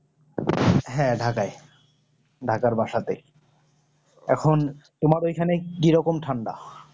হ্যাঁ ঢাকায় ঢাকার বাসাতে এখন তুমার ওই খানে কি রকম ঠান্ডা